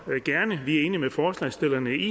gerne vi er enige med forslagsstillerne i